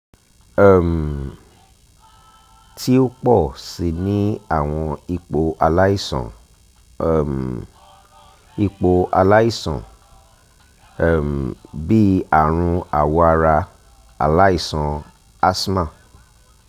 um ti o pọ si ni awọn ipo alaisan um ipo alaisan um bii arun awọ ara alaisan asthma